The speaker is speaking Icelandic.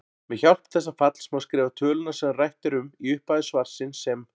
Með hjálp þessa falls má skrifa töluna sem rætt er um í upphafi svarsins sem